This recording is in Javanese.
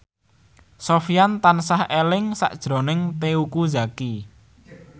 Sofyan tansah eling sakjroning Teuku Zacky